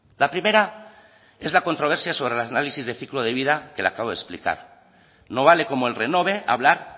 la primera es la controversia sobre la análisis de ciclo de vida que le acabo de explicar no vale como el renove hablar